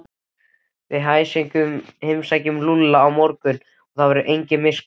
Við heimsækjum Lúlla á morgun og þá verður engin miskunn.